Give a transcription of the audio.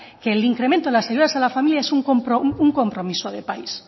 que el incremento a las ayudas a la familia es un compromiso de país